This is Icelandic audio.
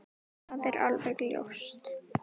Það er alveg ljóst.